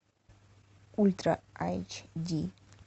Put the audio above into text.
ультра айч ди